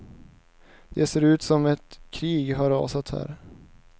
Det ser ut som om ett krig har rasat här.